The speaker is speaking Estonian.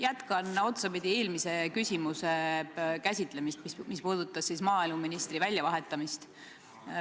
Jätkan otsapidi eelmise küsimuse käsitlemist, mis puudutas maaeluministri väljavahetamist.